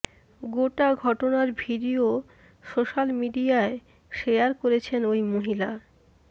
গোটা ঘটনার video social মিডিয়ায় শেযার করেছেন ওই মহিলা